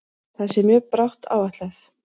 Það sé mjög bratt áætlað.